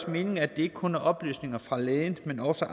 mening at det ikke kun er oplysninger fra lægen men også